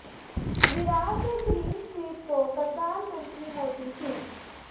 ਵਿਰਾਟ ਦੇ clean sweep ਤੋਂ ਪ੍ਰਧਾਨ ਮੰਤਰੀ ਮੋਦੀ ਖ਼ੁਸ਼